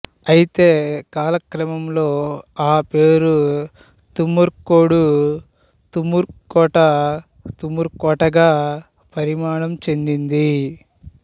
అయితే కాలక్రమంలో ఆ పేరు తుమ్మర్కోడు తుమ్మూరుకోట తుమృకోటగా పరిణామం చెందింది